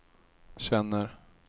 känner